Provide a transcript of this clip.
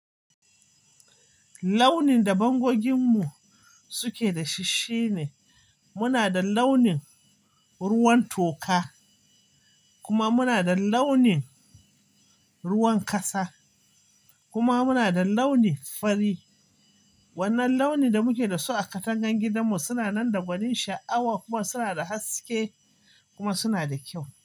Launin da bangoginmu suke da shi, shine muna da launin ruwan toka kuma muna da launin ruwan ƙasa kuma muna da launi fari. Wannan launi da muke da su a katangan gidanmu suna nan da gwanin sha'awa kuma suna da haske kuma suna da kyau.